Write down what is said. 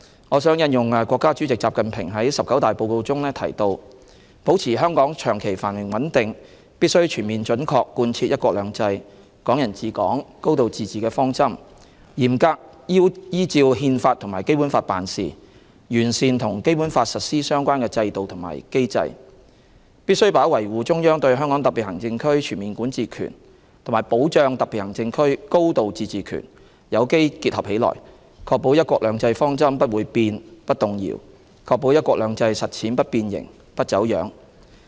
我想引用國家主席習近平在"十九大"報告中提到"保持香港長期繁榮穩定，必須全面準確貫徹'一國兩制'、'港人治港'、高度自治的方針，嚴格依照《憲法》和《基本法》辦事，完善與《基本法》實施相關的制度和機制"、"必須把維護中央對香港特別行政區全面管治權和保障特別行政區高度自治權有機結合起來，確保'一國兩制'方針不會變、不動搖，確保'一國兩制'實踐不變形、不走樣"。